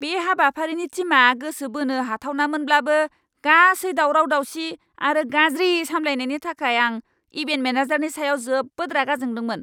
बे हाबाफारिनि थीमआ गोसो बोनो हाथावनामोनब्लाबो गासै दावराव दावसि आरो गाज्रि सामलायनायनि थाखाय आं इभेन्ट मेनेजारनि सायाव जोबोद रागा जोंदोंमोन!